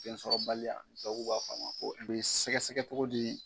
Fɛnsɔrɔbaliya tubabuw b'a f'a ma ko E be sɛgɛsɛgɛ cogo di?